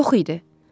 Yox idi.